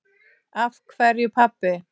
Af hverju, pabbi?